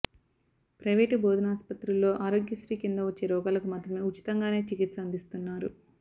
private బోధనాస్పత్రుల్లో ఆరోగ్యశ్రీ కింద వచ్చే రోగాలకు మాత్రమే ఉచితంగానే చికిత్స అందిస్తున్నారు